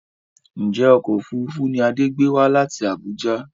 Ǹjẹ́ ọkọ̀ òfuurufú ni Adé gbé wá láti Abuja?